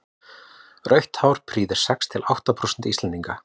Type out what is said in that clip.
rautt hár prýðir sex til átta prósent íslendinga